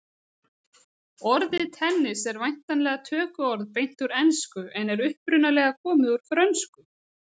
Orðið tennis en væntanlega tökuorð beint úr ensku en er upprunalega komið úr frönsku.